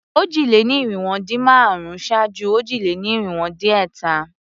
Òjì-lé-ní-irinwó-dín-márùn-ún ṣáájú òjì-lé-ní-irinwó-dín-ẹ̀ta.